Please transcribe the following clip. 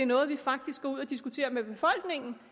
noget vi faktisk går ud og diskuterer med befolkningen